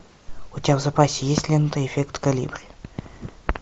у тебя в запасе есть лента эффект колибри